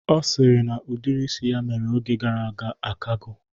Ọ sịrị na udiri isi ya mere oge gara aga akago